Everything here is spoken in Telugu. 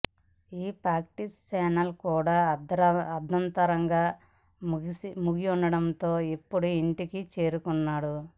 ఈ ప్రాక్టీస్ సెషన్ కూడా అర్థాంతరంగా ముగియడంతో ఇప్పుడు ఇంటికి చేరుకున్నాడు